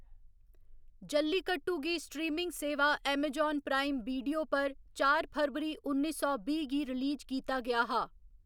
जल्लीकट्टू गी स्ट्रीमिंग सेवा Amazon Prime Video पर चार फरवरी उन्नी सौ बीह्‌ गी रिलीज कीता गेआ हा।